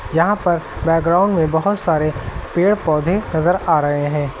यहां पर बैकग्राउंड में बहोत सारे पेड़ पौधे नजर आ रहे हैं।